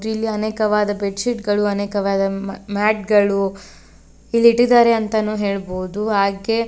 ಇಲ್ಲಿ ಅನೇಕವಾದ bed sheet ಗಳು ಅನೇಕವಾದ ಮ್ಯಾಟ್ ಗಳು ಇಲ್ಲಿಟ್ಟಿದ್ದಾರೆ ಅಂತಾನು ಹೇಳ್ಬೋದು ಹಾಗೇ --